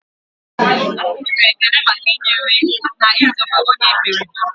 A kpụrụru Ekene maka i nyere na Ị zobe onye ekperima